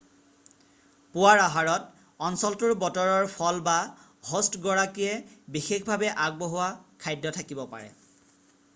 পুৱাৰ আহাৰত অঞ্চলটোৰ বতৰৰ ফল বা হ'ষ্টগৰাকীয়ে বিশেষভাৱে আগবঢ়োৱা খাদ্য থাকিব পাৰে